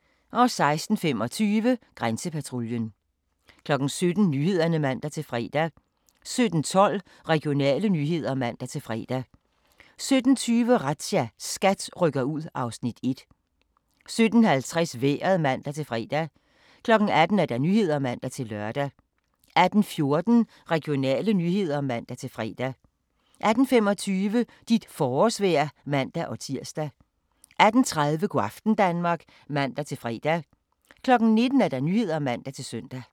16:25: Grænsepatruljen 17:00: Nyhederne (man-fre) 17:12: Regionale nyheder (man-fre) 17:20: Razzia – SKAT rykker ud (Afs. 1) 17:50: Vejret (man-fre) 18:00: Nyhederne (man-lør) 18:14: Regionale nyheder (man-fre) 18:25: Dit forårsvejr (man-tir) 18:30: Go' aften Danmark (man-fre) 19:00: Nyhederne (man-søn)